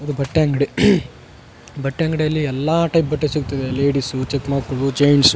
ಇದು ಬಟ್ಟ ಅಂಗ್ಡಿ ಬಟ್ಟೆ ಅಂಗ್ಡಿಯಲ್ಲಿ ಎಲ್ಲ ಟೈಪ್ ಬಟ್ಟೆ ಸಿಗ್ತವ ಲೇಡೀಸ್ ಚಿಕ್ಕ ಮಕ್ಕ್ಳು ಜೆಂಟ್ಸ್ .